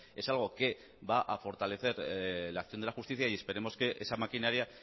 es algo que va a fortalecer la acción de la justicia y esperemos que esa maquinaria